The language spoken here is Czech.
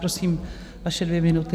Prosím, vaše dvě minuty.